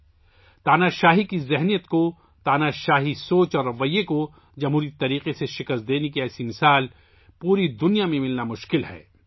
آمرانہ ذہنیت، آمرانہ رجحان کو جمہوری طریقے سے شکست دینے کی ایسی مثال پوری دنیا میں ملنا مشکل ہے